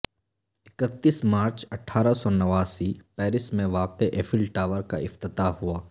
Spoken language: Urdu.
اکتیس مارچ اٹھارہ سو نواسی پیرس میں واقع ایفل ٹاور کا افتتاح ہوا